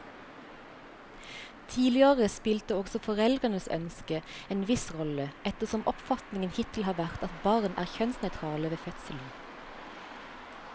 Tidligere spilte også foreldrenes ønske en viss rolle, ettersom oppfatningen hittil har vært at barn er kjønnsnøytrale ved fødselen.